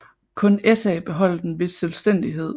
Kun SA beholdt en vis selvstændighed